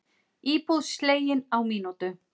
Íbúð slegin á mínútu